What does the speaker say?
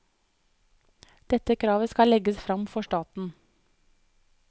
Dette kravet skal legges fram for staten.